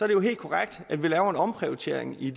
det jo helt korrekt at vi laver en omprioritering i